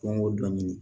Don o don